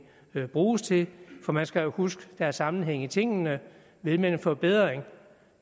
bruges til for man skal jo huske at der er sammenhæng i tingene vil man forbedring